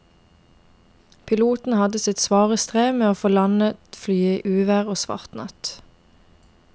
Piloten hadde sitt svare strev med å få landet flyet i uvær og svart natt.